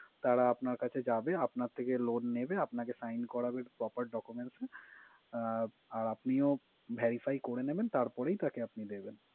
তারা আপনার কাছে যাবে, আপনার থেকে loan নেবে, আপনাকে sign করাবে proper documents আহ র আপনিও verify করে নিবেন, তারপরে তাকেই আপনি দিবেন।